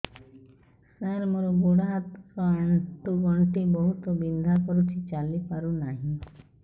ସାର ମୋର ଗୋଡ ହାତ ର ଆଣ୍ଠୁ ଗଣ୍ଠି ବହୁତ ବିନ୍ଧା କରୁଛି ଚାଲି ପାରୁନାହିଁ